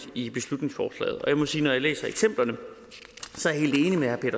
i beslutningsforslaget jeg må sige at når jeg læser eksemplerne